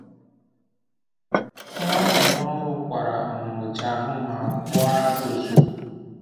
Nwa amụrụ ọhụrụ kwara um ụjahụ ma kpọọ ara ozugbo.